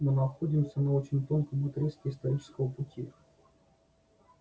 мы находимся на очень тонком отрезке исторического пути